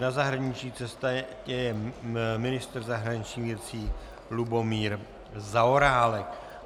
Na zahraniční cestě je ministr zahraničních věcí Lubomír Zaorálek.